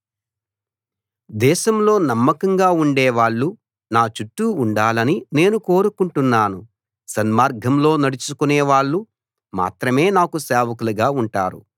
దేశంలో నమ్మకంగా ఉండే వాళ్ళు నా చుట్టూ ఉండాలని నేను కోరుకుంటున్నాను సన్మార్గంలో నడుచుకునే వాళ్ళు మాత్రమే నాకు సేవకులుగా ఉంటారు